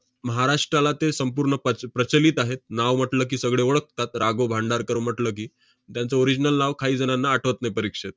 महाराष्ट्राला ते संपूर्ण प्रच~ प्रचलित आहेत. नाव म्हटलं की, सगळे ओळखतात रा. गो. भांडारकर म्हटलं की. त्यांचं original नाव काही जणांना आठवत नाही परीक्षेत.